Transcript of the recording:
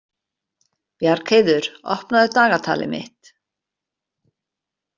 Bjargheiður, opnaðu dagatalið mitt.